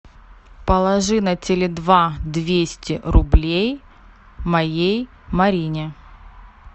положи на теле два двести рублей моей марине